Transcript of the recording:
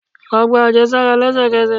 Lọ gba ajesara lẹsẹkẹsẹ!